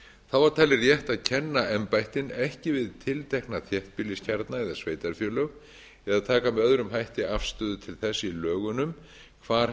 þá er talið rétt að kenna embættin ekki við tiltekna þéttbýliskjarna eða sveitarfélög eða taka með öðrum hætti afstöðu til þess í lögunum hvar